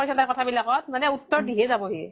কৰিছা কথা বিলাকত, মানে উত্তৰ দিহে যাব হি।